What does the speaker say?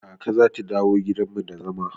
Kaka zata dawo gidan mu da zama.